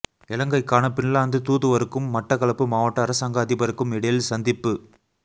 இலங்கைக்கான பின்லாந்து தூதுவருக்கும் மட்டக்களப்பு மாவட்ட அரசாங்க அதிபருக்கும் இடையில் சந்திப்பு